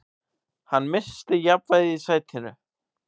Hann missti jafnvægið í sætinu.